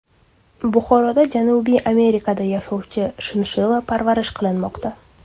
Buxoroda Janubiy Amerikada yashovchi shinshilla parvarish qilinmoqda.